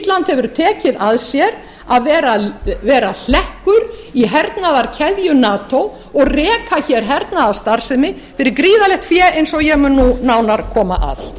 hefur tekið að sér að vera hlekkur í hernaðarkeðju nato og reka hernaðarstarfsemi fyrir gríðarlegt fé eins og ég mun nú nánar koma að það eru